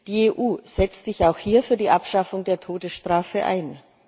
Die EU setzt sich auch hier für die Abschaffung der Todesstrafe ein.